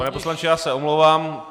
Pane poslanče, já se omlouvám.